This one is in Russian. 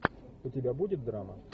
у тебя будет драма